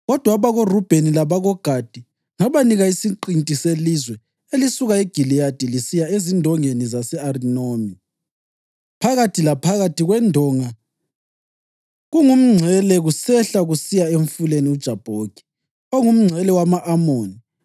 Kodwa abakoRubheni labakoGadi ngabanika isiqinti selizwe elisuka eGiliyadi lisiya ezindongeni zase-Arinoni (phakathi laphakathi kwendonga kungumngcele) kusehla kusiya eMfuleni uJabhoki, ongumngcele wama-Amoni.